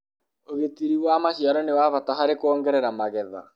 ũgitĩri wa maciaro nĩ wa bata harĩ kuongerera magetha